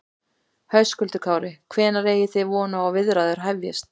Höskuldur Kári: Hvenær eigi þið von á því að viðræður hefjist?